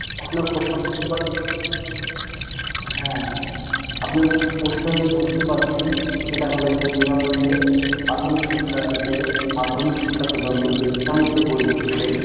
আপনার প্রশ্ন বুঝতে হ্যাঁ আপনের প্রশ্ন আমি বুঝতে পারছি সেটা হল যে বিনামূল্যে প্রাথমিক শিক্ষা থেকে মাধ্যমিক শিক্ষা পর্যন্ত যে বই দিচ্ছে